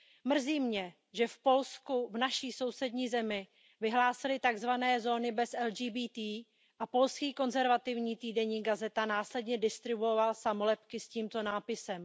Mrzí mě, že v Polsku, v naší sousední zemi, vyhlásili takzvané zóny bez LGBTI a polský konzervativní týdeník Gazeta následně distribuoval samolepky s tímto nápisem.